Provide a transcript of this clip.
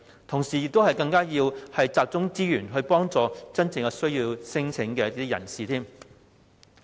同時，我們亦要集中資源，幫助真正有需要的人士。